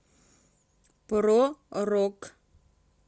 про рок